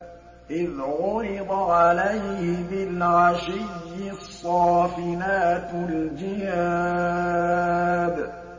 إِذْ عُرِضَ عَلَيْهِ بِالْعَشِيِّ الصَّافِنَاتُ الْجِيَادُ